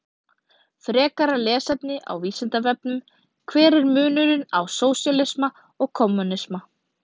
Frekara lesefni á Vísindavefnum: Hver er munurinn á sósíalisma og kommúnisma?